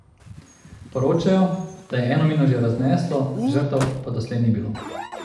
Poročajo, da je eno mino že razneslo, žrtev pa doslej ni bilo.